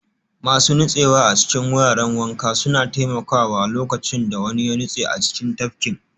Masu nutsewa a cikin wuraren wanka suna taimakawa lokacin da wani ya nutse a cikin tafkin